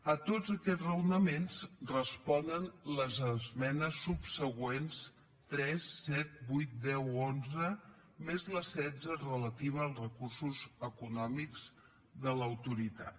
a tots aquests raonaments responen les esmenes subsegüents tres set vuit deu onze més la setze relativa als recursos econòmics de l’autoritat